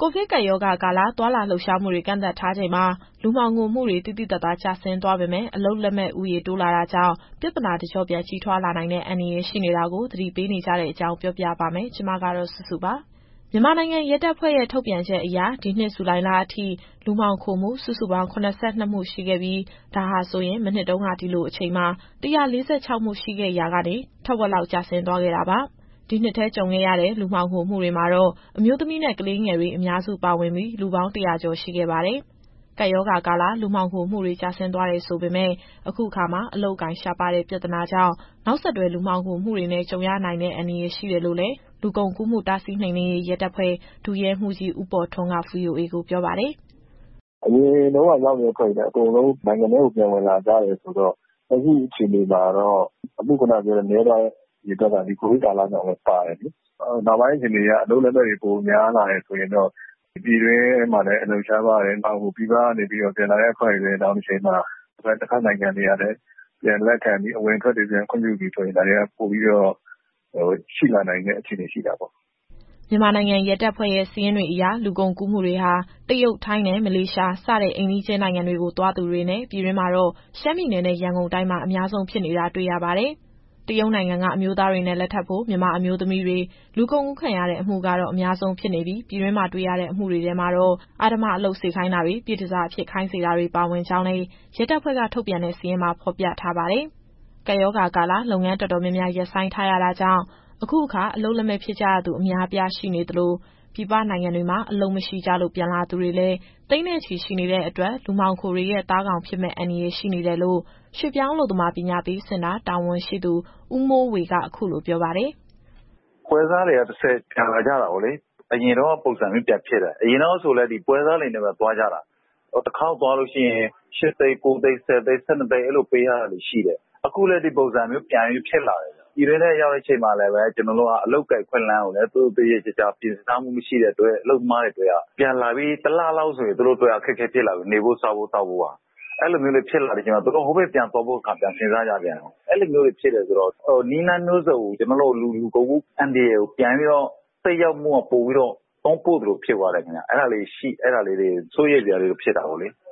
ကိုဗစ်ကပ်ရောဂါကာလ သွားလာလှုပ်ရှားမှုတွေ ကန့်သတ်ထားချိန်မှာ လူမှောင်ခိုမှုတွေ သိသိသာသာ ကျဆင်းသွားပေမဲ့ အလုပ်လက်မဲ့ဦးရေ တိုးလာနေတာကြောင့် ပြဿနာ တကျော့ပြန်ကြီးထွားလာနိုင်တဲ့ အန္တရာယ်ရှိနေတာကို သတိပေးနေကြတဲ့အကြောင်း ဗွီအိုအေမြန်မာပိုင်း သတင်းထောက် မစုစုက ပြောပြပါမယ်။ မြန်မာနိုင်ငံရဲတပ်ဖွဲ့ရဲ့ ထုတ်ပြန်ချက်အရ ဒီနှစ်ဇူလိုင်လအထိ လူမှောင်ခိုမှု စုစုပေါင်း ၇၂ မှု ရှိခဲ့ပြီး၊ ဒါဟာဆိုရင် မနှစ်တုန်းက ဒီလိုအချိန်မှာ ၁၄၆ မှုရှိခဲ့ရာကနေ ထက်ဝက်လောက် ကျဆင်းသွားခဲ့တာပါ။ ဒီနှစ်ထဲ ကြုံခဲ့ရတဲ့ လူမှောင်ခိုမှုတွေမှာတော့ အမျိုးသမီးနဲ့ ကလေးငယ်တွေ အများစု ပါဝင်ပြီး လူပေါင်း ၁၀၀ ကျော် ရှိခဲ့ပါတယ်။ ကပ်ရောဂါကာလ လူမှောင်ခိုမှုတွေ ကျဆင်းသွားတယ် ဆိုပေမဲ့ အခုအခါ အလုပ်အကိုင် ရှားပါးတဲ့ ပြဿနာကြောင့် နောက်ဆက်တွဲ လူမှောင်ခိုမှုတွေနဲ့ ကြုံရနိုင်တဲ့ အန္တရာယ်ရှိတယ်လို့လည်း လူကုန်ကူးမှုတားဆီး နှိမ်နှင်းရေး ရဲတပ်ဖွဲ့ ဒုရဲမှူးကြီး ဦးပေါ်ထွန်းက VOA ကိုပြောပါတယ်။ “အရင်တုန်းကရောက်နေတဲ့ အဖွဲ့တွေလည်း အကုန်လုံးနိုင်ငံထဲကို ပြန်ဝင်လာကြတယ်ဆိုတော့ လက်ရှိအခြေအနေမှာ အမှုအရေအတွက် နည်းသွားတာက ဒီကိုဗစ်ကာလကြောင့်လည်း ပါတယ်။ နောက်ပိုင်းအခြေအနေအရ အလုပ်လက်မဲ့တွေ ပိုများလာတယ်ဆိုရင်တော့ ဒီပြည်တွင်းမှာလည်း အလုပ်ရှားပါးတယ်။ နောက် ပြည်ပကနေ ပြန်လာတဲ့အဖွဲ့တွေလည်း နောင်တချိန်မှာ တဘက်နိုင်ငံတွေက အဝင်အထွက်တွေ ခွင့်ပြုပြီဆိုရင် ဒါတွေကပိုပြီးတော့ ရှိလာနိုင်တဲ့ အခြေအနေရှိတာပေါ့။” မြန်မာနိုင်ငံ ရဲတပ်ဖွဲ့ရဲ့ စာရင်းတွေအရ လူကုန်ကူးမှုတွေဟာ တရုတ်၊ ထိုင်းနဲ့ မလေးရှား စတဲ့အိမ်နီးချင်း နိုင်ငံတွေကိုသွားသူတွေနဲ့ ပြည်တွင်းမှာတော့ ရှမ်းပြည်နယ်နဲ့ ရန်ကုန်တိုင်းမှာ အများဆုံးဖြစ်နေတာ တွေ့ရပါတယ်။ တရုတ်နိုင်ငံက အမျိုးသားတွေနဲ့ လက်ထပ်ဖို့ မြန်မာအမျိုးသမီးတွေ လူကုန်ကူးခံရတဲ့အမှုကတော့ အများဆုံးဖြစ်နေပြီး ပြည်တွင်းမှာ တွေ့ရတဲ့အမှုတွေထဲမှာတော့ အဓမ္မအလုပ်စေခိုင်းတာတွေ၊ ပြည့်တန်ဆာအဖြစ် ခိုင်းစေတာတွေ ပါဝင်ကြောင်းလည်း ရဲတပ်ဖွဲ့က ထုတ်ပြန်တဲ့ စာရင်းမှာ ဖော်ပြထားပါတယ်။ ကပ်ရောဂါကာလ လုပ်ငန်းတော်တော်များများ ရပ်ဆိုင်းထားရတာကြောင့် အခုအခါ အလုပ်လက်မဲ့ဖြစ်ကြရသူ အများအပြား ရှိနေသလို ပြည်ပနိုင်ငံတွေမှာ အလုပ်မရှိကြလို့ ပြန်လာသူတွေလည်း သိန်းနဲ့ချီရှိနေတဲ့အတွက် လူမှောင်ခိုတွေရဲ့ သားကောင်ဖြစ်မယ့် အန္တရာယ် ရှိနေတယ်လို့လည်း ရွှေ့ပြောင်းအလုပ်သမား ပညာပေးစင်တာ တာဝန်ရှိသူ ဦးမိုးဝေက အခုလိုပြောပါတယ်။ “ပွဲစားတွေကနေတဆင့် ပြန်လာကြတာပေါ့လေ။ အရင်တုန်းက ပုံစံမျိုး ပြန်ဖြစ်တယ်။ အရင်တုန်းကဆိုရင်လည်း ဒီပွဲစားတွေနဲ့ပဲသွားကြတာ။ တခေါက်သွားရင် ၈၀၀,၀၀၀ ကနေ ၁၂ သိန်း အဲလိုပေးရတာတွေ ရှိတယ်။ အခုလည်းပဲ ဒီပုံစံမျိုး ပြန်ပြီးဖြစ်လာတယ်။ ပြည်တွင်းထဲပြန်ရောက်တဲ့ အခါမှာလည်း အလုပ်အကိုင်အခွင့်အလမ်းက သေချာပြင်ဆင်မထားတော့ အလုပ်သမားတွေအတွက်က ပြန်လာပြီး တလလောက်ဆိုရင် စားဝတ်နေရေးက အခက်အခဲပြန်ဖြစ်လာပြီ။ အဲလိုဖြစ်လာတော့ သူတို့ဟိုကိုပြန်သွားဖို့ တခါပြန်စဉ်းစားရပြန်ရော။ အဲလိုဖြစ်တယ်ဆိုတော့ နည်းလမ်းမျိုးစုံနဲ့ ကျနော်တို့ လူကုန်ကူး အန္တရာယ်ကို ပြန်ပြီးတော့သက်ရောက်ဖို့က တွန်းပို့သလိုဖြစ်သွားတော့ အဲဒါတွေက စိုးရိမ်စရာဖြစ်တာပေါ့လေ။”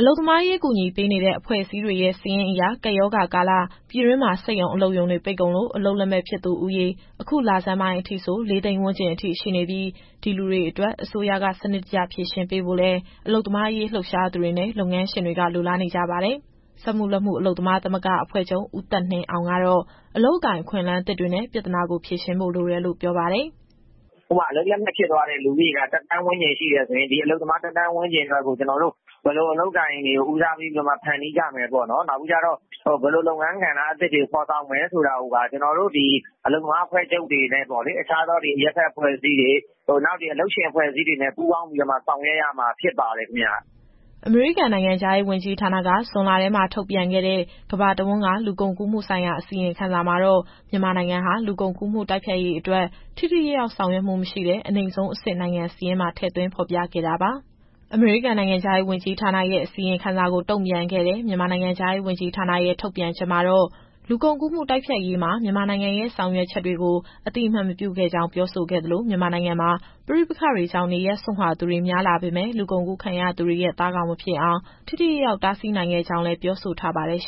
အလုပ်သမားရေး ကူညီပေးနေတဲ့ အဖွဲ့အစည်းတွေရဲ့ စာရင်းအရ ကပ်ရောဂါကာလ ပြည်တွင်းမှာ စက်ရုံအလုပ်ရုံတွေ ပိတ်ကုန်လို့ အလုပ်လက်မဲ့ဖြစ်သူဦးရေ အခုလဆန်းပိုင်းအထိဆို ၄၀၀,၀၀၀ ဝန်းကျင်ရှိနေပြီး၊ ဒီလူတွေအတွက် အစိုးရက စနစ်တကျ ဖြေရှင်းပေးဖို့လည်း အလုပ်သမားရေး လှုပ်ရှားသူတွေနဲ့ လုပ်ငန်းရှင်တွေက လိုလားနေကြပါတယ်။ စက်မှုလက်မှုအလုပ်သမား သမဂ္ဂအဖွဲ့ချုပ်က ဦးသက်နှင်းအောင်ကတော့ အလုပ်အကိုင် အခွင့်အလမ်းသစ်တွေနဲ့ ပြဿနာကို ဖြေရှင်းဖို့ လိုတယ်လို့ပြောပါတယ်။ “ဥပမာ အလုပ်လက်မဲ့ဖြစ်သွားသူက ၁,၀၀၀,၀၀၀ ဝန်းကျင်ရှိတယ်ဆိုရင် ဒီအလုပ်သမားတွေအတွက်ကို ဘယ်လိုအလုပ်အကိုင်တွေ ဦးစားပေးဖန်တီးကြမယ်ပေါ့။ နောက်ပြီးတော့ ဘယ်လိုလုပ်ငန်းကဏ္ဍအသစ်တွေ ဖော်ဆောင်မယ်ဆိုတာကို အလုပ်သမားအဖွဲ့ချုပ်တွေနဲ့ အခြားသောအရပ်ဘက်အဖွဲ့တွေ၊ အလုပ်ရှင်အဖွဲ့အစည်းတွေနဲ့ ပူးပေါင်းဆောင်ရွက်ရမှာ ဖြစ်ပါတယ်ခင်ဗျ။” အမေရိကန်နိုင်ငံခြားရေး ဝန်ကြီးဌာနက ဇွန်လထဲမှာ ထုတ်ပြန်ခဲ့တဲ့ ကမ္ဘာတဝန်းက လူကုန်ကူးမှုဆိုင်ရာ အစီရင်ခံစာမှာတော့ မြန်မာနိုင်ငံဟာ လူကုန်ကူးမှု တိုက်ဖျက်ရေးအတွက် ထိထိရောက်ရောက် ဆောင်ရွက်မှုမရှိတဲ့ အနိမ့်ဆုံးအဆင့် နိုင်ငံစာရင်းမှာ ထည့်သွင်းဖော်ပြခဲ့တာပါ။ အမေရိကန်နိုင်ငံခြားရေး ဝန်ကြီးဌာနရဲ့ အစီရင်ခံစာကို တုံ့ပြန်ခဲ့တဲ့ မြန်မာနိုင်ငံခြားရေးဝန်ကြီးဌာနရဲ့ ထုတ်ပြန်ချက်မှာတော့ လူကုန်ကူးမှု တိုက်ဖျက်ရေးမှာ မြန်မာနိုင်ငံရဲ့ ဆောင်ရွက်ချက်တွေကို အသိအမှတ်မပြုခဲ့ကြောင်း ပြောဆိုခဲ့သလို မြန်မာနိုင်ငံမှာ ပဋိပက္ခတွေကြောင့် နေရပ်စွန့်ခွာရသူတွေ များလာပေမဲ့ လူကုန်ကူးခံရသူတွေရဲ့ သားကောင်မဖြစ်အောင် ထိထိရောက်ရောက် တားဆီးနိုင်ခဲ့ကြောင်းလည်း ပြောဆိုထားပါတယ်။